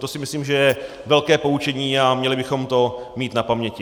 To si myslím, že je velké poučení, a měli bychom to mít na paměti.